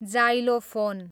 xylophone